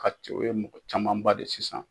Ka cɛ, o ye mɔgɔ camanba de sisan